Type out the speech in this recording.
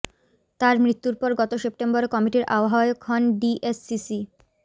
তার মৃত্যুর পর গত সেপ্টেম্বরে কমিটির আহ্বায়ক হন ডিএসসিসি